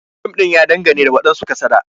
Fim din ya dangane ga wadansu kasada.